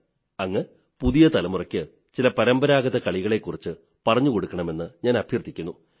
അങ്ങ് പുതിയ തലമുറയ്ക്ക് ചില പരമ്പരാഗത കളികളെക്കുറിച്ച് പറഞ്ഞുകൊടുക്കണമെന്ന് ഞാൻ അഭ്യർഥിക്കുന്നു